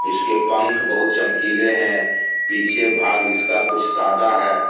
इसके पंख बहुत चमकीले है पीछे भाग इसका कुछ सादा है।